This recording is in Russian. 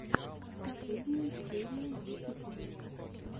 последняя серия юпи тойс